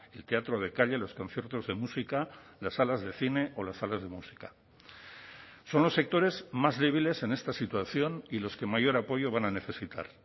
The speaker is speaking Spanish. el teatro de calle los conciertos de música las salas de cine o las salas de música son los sectores más débiles en esta situación y los que mayor apoyo van a necesitar